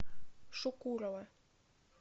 шукурова